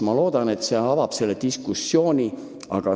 Ma loodan, et see eelnõu avab laiema diskussiooni.